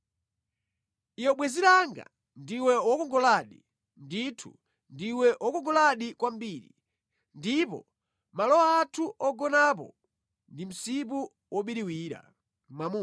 Iwe bwenzi langa, ndiwe wokongoladi! Ndithu, ndiwe wokongoladi kwambiri! Ndipo malo athu ogonapo ndi msipu wobiriwira.